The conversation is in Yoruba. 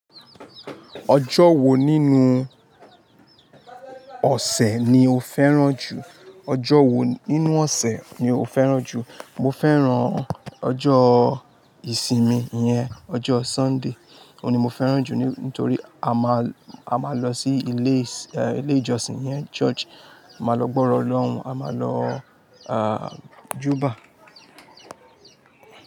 Ọjọ́ wo nínú ọ̀sẹ̀ ni o fẹ́ràn jù? Mo fẹ́ràn ọjọ́ ìsinmi iyẹn, ọjọ́ Sunday. Òun ni mo fẹ́ràn jù nítorí a máa lọ sí ilé ìjọsìn iyẹn church. A máa lọ gbọ́rọ̀ lọ́hun, a máa lọ áà jùbà.